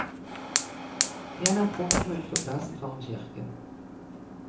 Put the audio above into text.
Gjennom porten og ut på plassen foran kirken.